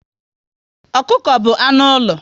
Ọkụkọ bụ anụ ụlọ